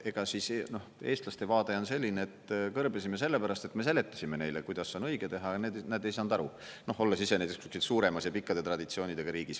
Ega siis eestlaste vaade on selline, et kõrbesime sellepärast, et me seletasime neile, kuidas on õige teha, ja nad ei saanud aru, olles ise näiteks suuremas ja pikkade traditsioonidega riigis.